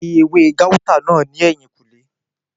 O máa rí ewé gáútà náà ní ẹ̀yìnkùlé